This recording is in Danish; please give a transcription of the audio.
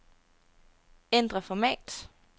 Ændr format.